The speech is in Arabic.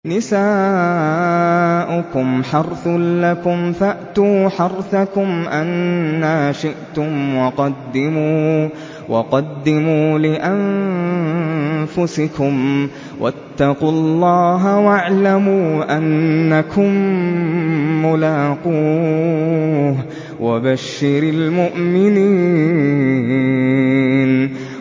نِسَاؤُكُمْ حَرْثٌ لَّكُمْ فَأْتُوا حَرْثَكُمْ أَنَّىٰ شِئْتُمْ ۖ وَقَدِّمُوا لِأَنفُسِكُمْ ۚ وَاتَّقُوا اللَّهَ وَاعْلَمُوا أَنَّكُم مُّلَاقُوهُ ۗ وَبَشِّرِ الْمُؤْمِنِينَ